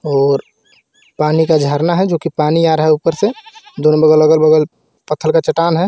और पानी का जर्ना हे जो कि पानी आ रहा हे ऊपर से दोनों बगल अगल बगल पत्थल का चटान हे.